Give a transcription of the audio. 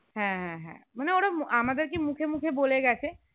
হ্যাঁ হ্যাঁ হ্যাঁ মানে ওরা আমাদেরকে মুখে মুখে বলে গেছে